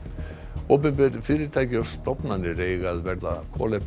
opinber fyrirtæki og stofnanir eiga að verða